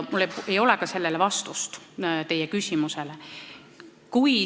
Mul ei ole sellele teie küsimusele vastust.